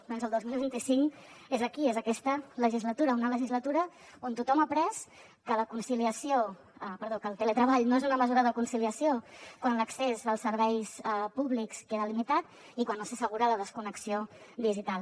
doncs el dos mil vint cinc és aquí és aquesta legislatura una legislatura on tothom ha après que el teletreball no és una mesura de conciliació quan l’accés als serveis públics queda limitat i quan no s’assegura la desconnexió digital